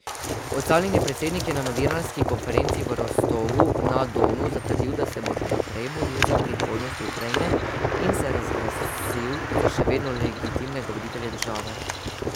Odstavljeni predsednik je na novinarski konferenci v Rostovu na Donu zatrdil, da se bo še naprej boril za prihodnost Ukrajine, in se razglasil za še vedno legitimnega voditelja države.